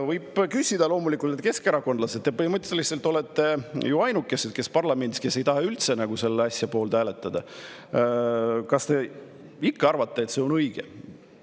Võib küsida, et loomulikult, keskerakondlased, te põhimõtteliselt olete ju ainukesed parlamendis, kes ei taha üldse selle asja poolt hääletada, kas te ikka arvate, et nii on õige.